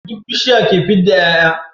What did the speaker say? Duk bishiya ke fidda y'ay'a